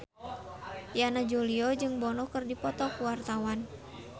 Yana Julio jeung Bono keur dipoto ku wartawan